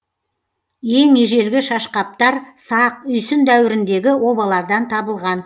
ең ежелгі шашқаптар сақ үйсін дәуіріндегі обалардан табылған